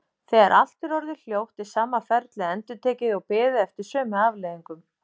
Þegar allt er orðið hljótt er sama ferlið endurtekið og beðið eftir sömu afleiðingum.